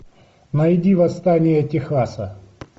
найди восстание техаса